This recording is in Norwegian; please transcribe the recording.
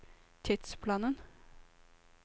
tidsplanen